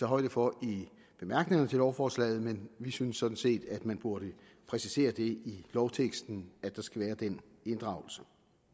højde for i bemærkningerne til lovforslaget men vi synes sådan set at man burde præcisere det i lovteksten at der skal være den inddragelse